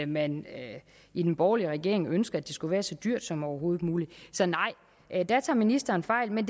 man i den borgerlige regering ønskede at det skulle være så dyrt som overhovedet muligt så nej der tager ministeren fejl men